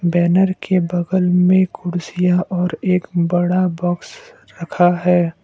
Banner के बगल में कुर्सियां और एक बड़ा बॉक्स रखा है।